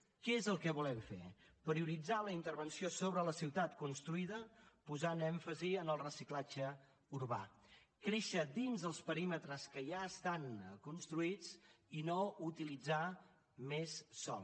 què és el que volem fer prioritzar la intervenció sobre la ciutat construïda posant èmfasi en el reciclatge urbà créixer dins els perímetres que ja estan construïts i no utilitzar més sòl